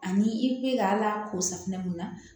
Ani i bɛ ka ala k'o safunɛ mun na